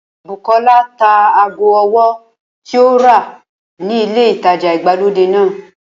Bùkọ́lá ta ago ọwọ́ tí ó rà ni ilé ìtajà ìgbàlódé náà